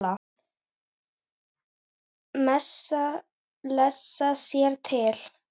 Menn lesa sér til.